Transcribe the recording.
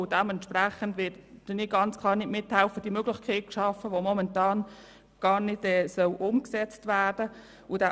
Dementsprechend helfe ich ganz klar nicht mit, eine Möglichkeit zu schaffen, welche vorläufig gar nicht umgesetzt werden soll.